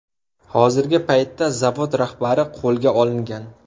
Hozirgi paytda zavod rahbari qo‘lga olingan.